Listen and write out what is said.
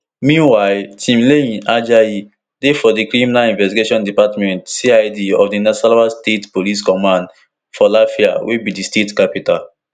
meanwhile timileyin ajayi dey for di criminal investigation department cid of di nasarawa state police command for lafia wey be di state capital